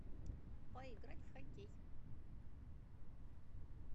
поиграть в хоккей